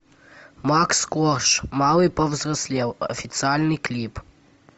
макс корж малый повзрослел официальный клип